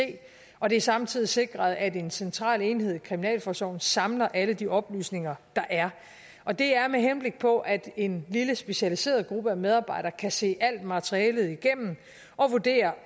og det er samtidig sikret at en central enhed i kriminalforsorgen samler alle de oplysninger der er og det er med henblik på at en lille specialiseret gruppe af medarbejdere kan se alt materialet igennem og vurdere